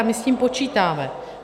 A my s tím počítáme.